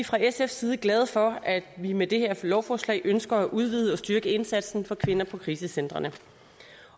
fra sfs side glade for at vi med det her lovforslag udvider og styrker indsatsen for kvinder på krisecentrene